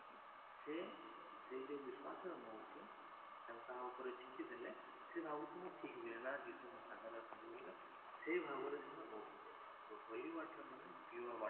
ଯେ ସେଇ ଯୋଉ ବିଶ୍ୱାସରେ ନଉଛି ତାଙ୍କ କାହା ଉପରେ ଛିଟି ଦେଲେ ସେ ଭାବୁଛି ମୁଁ ଠିକ ହୁଏ ନା ଯୀଶୁ ମୋ ସାଙ୍ଗରେ ଅଛନ୍ତି ସେ ଭାବରେ ସେମାନେ ନଉଛନ୍ତି holy water ମାନେ pure water